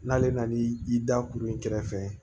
N'ale nan'i da kuru in kɛrɛfɛ